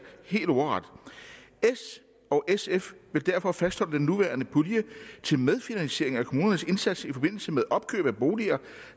helt ordret s og sf vil derfor fastholde den nuværende pulje til medfinansiering af kommunernes indsats i forbindelse med opkøb af boliger